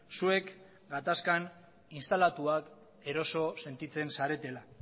zuek gatazkan instalatuak eroso sentitzen zaretela